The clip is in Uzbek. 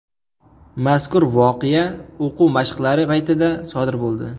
Mazkur voqea o‘quv mashqlari paytida sodir bo‘ldi.